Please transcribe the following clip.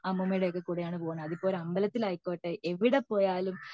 അമ്മുമ്മേടേം ഒക്കെ കൂടെ ആൺ പോകുന്നെ അതിപ്പോഒരു അമ്പലത്തിൽ ആയിക്കോട്ടെ എവിടെ പോയാലും